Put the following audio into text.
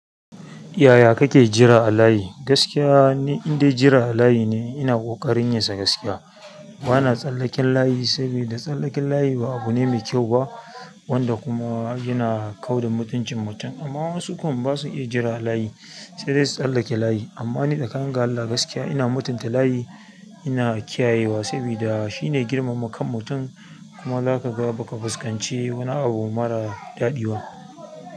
Yaya kake jira a layi? Gaskiya ni, in dai jira a layi ne ina ƙoƙarin yi sa gaskiya. Bana tsallaken layayi sabida tsallake layi aba abune mai kayau ba wanda kuma yana kauda mutunci mutum amma wasu kam ba su iya jira a layi, sai dai su tsallake layi. Amma ni da staka ni gan Allah gaskiya ina mutunta layi, ina kiyayewa sabida shi ne girmama kan mutum kuma za ka ga ba ka fuskanci wani abu marar daɗi ba.